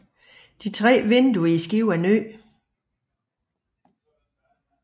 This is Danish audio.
De tre vinduer i skibet er nyere